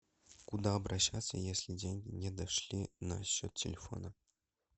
куда обращаться если деньги не дошли на счет телефона